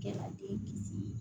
Kɛla den kisi